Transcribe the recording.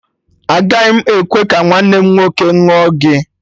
Agaghị m ekwe ka nwanne m nwoke ṅụọ gị!